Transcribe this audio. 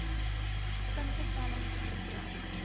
punte tellings verkry